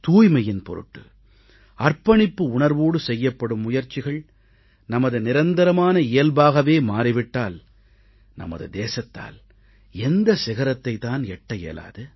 தூய்மையின் பொருட்டு அர்ப்பணிப்பு உணர்வோடு செய்யப்படும் முயற்சிகள் நமது நிரந்தரமான இயல்பாகவே மாறி விட்டால் நமது தேசத்தால் எந்த சிகரத்தைத் தான் எட்ட இயலாது